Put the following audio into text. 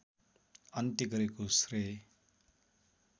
अन्त्य गरेको श्रेय